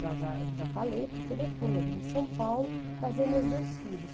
Já já, já falei para o telefone, eu vim de São Paulo trazer meus dois filhos.